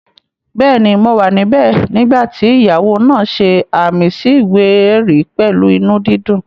Bẹ́ẹ̀ni, mo wà níbẹ̀ nígbà tí ìyàwó náà ṣe ààmì sí ìwé-ẹ̀rí pẹ̀lú inú dídùn